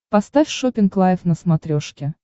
поставь шоппинг лайф на смотрешке